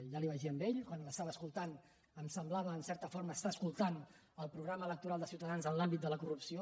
ja li ho vaig dir a ell quan l’estava escoltant em semblava en certa forma estar escoltant el programa electoral de ciutadans en l’àmbit de la corrupció